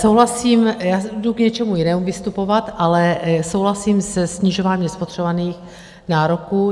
Souhlasím - já jdu k něčemu jinému vystupovat, ale souhlasím se snižováním spotřebovaných nároků.